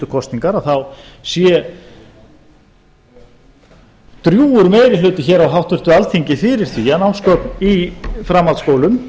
kosningar þá sé drjúgur meiri hluti hér á háttvirtu alþingi fyrir því að námsgögn í framhaldsskólum